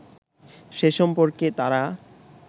সে সম্পর্কে তারা